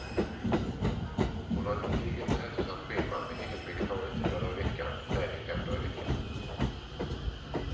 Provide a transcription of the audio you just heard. Hon har ett gediget men hälsosamt schema med helvegetariskt fyra dagar i veckan och träning fem dagar i veckan.